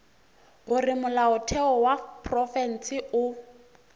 gore molaotheo wa profense o